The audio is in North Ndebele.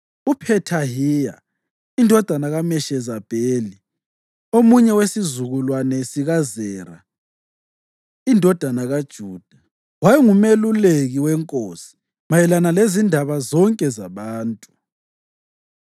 UPhethahiya indodana kaMeshezabeli, omunye wesizukulwane sikaZera indodana kaJuda, wayengumeluleki wenkosi mayelana lezindaba zonke zabantu.